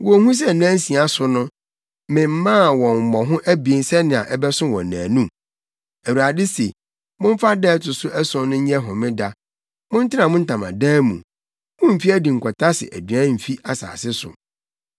Wonhu sɛ nnansia so no, memaa wɔn mmɔho abien sɛnea ɛbɛso wɔn nnaanu? Awurade se momfa da a ɛto so ason no sɛ homeda; montena mo ntamadan mu. Mummfi adi nkɔtase aduan mfi asase so.”